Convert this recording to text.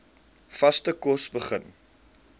vaste kos begin